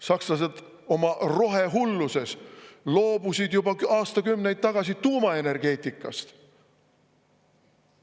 Sakslased oma rohehulluses loobusid juba aastakümneid tagasi tuumaenergeetikast.